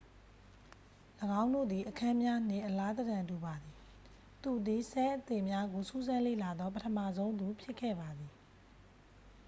၎င်းတို့သည် အခန်းများနှင့် အလားသဏ္ဍာန်တူပါသည် သူသည် ဆဲလ်အသေများကိုစူးစမ်းလေ့လာသော ပထမဆုံးသူဖြစ်ခဲ့ပါသည်